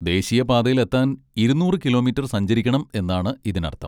ദേശീയ പാതയിലെത്താൻ ഇരുന്നൂറ് കിലോമീറ്റർ സഞ്ചരിക്കണം എന്നാണ് ഇതിനർത്ഥം.